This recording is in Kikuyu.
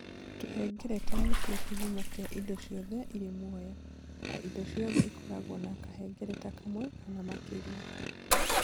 Tũhengereta nĩ tuo kĩhumo kĩa indo ciothe irĩ muoyo, na indo ciothe ikoragwo na kahengereta kamwe kana makĩria.